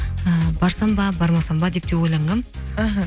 і барсам ба бармасам ба деп те ойланғанмын іхі